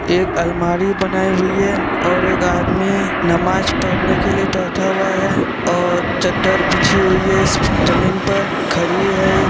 एक अलमारी बनाई हुई है और एक आदमी नमाज पढ़ने के लिए बैठा हुआ है और चद्दर बिछी हुई है इस जमीन पर घड़ी है एक--